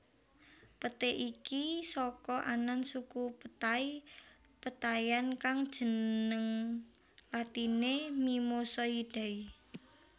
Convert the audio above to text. Peté iki saka anan suku petai petaian kang jeneng latiné Mimosoidae